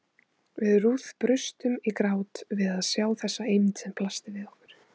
Við Ruth brustum í grát við að sjá þessa eymd sem blasti við okkur.